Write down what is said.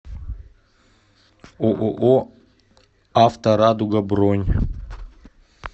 ооо авто радуга бронь